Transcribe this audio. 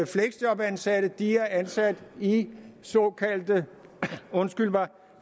fleksjobansatte er ansat i såkaldte